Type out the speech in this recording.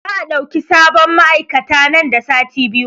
Za a ɗauki sabon ma'aikata nan da sati biyu